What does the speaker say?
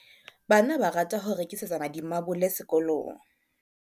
bana ba rata ho rekisetsana dimabole sekolong